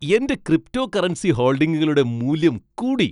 എന്റെ ക്രിപ്റ്റോകറൻസി ഹോൾഡിംഗുകളുടെ മൂല്യം കൂടി.